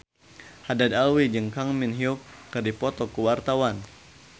Haddad Alwi jeung Kang Min Hyuk keur dipoto ku wartawan